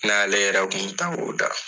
N n'ale yɛrɛ kun bi taa o da.